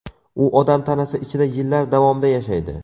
U odam tanasi ichida yillar davomida yashaydi.